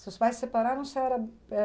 Seus pais se separaram, você era